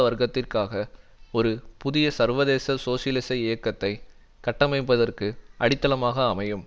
வர்க்கத்திற்காக ஒரு புதிய சர்வதேச சோசியலிச இயக்கத்தை கட்டமைப்பதற்கு அடித்தளமாக அமையும்